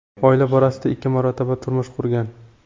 Oila borasida ikki marotaba turmush qurgan.